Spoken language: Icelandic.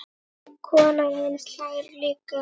Konan hans hlær líka.